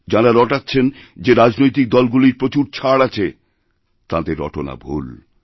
যাঁরা রটাচ্ছেন যে রাজনৈতিক দলগুলির প্রচুর ছাড় আছে তাঁদের রটনা ভুল